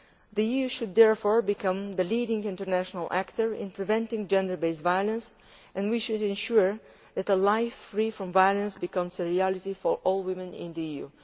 The EU should therefore become the leading international actor in preventing gender based violence, and we should ensure that a life free from violence becomes a reality for all women in the EU.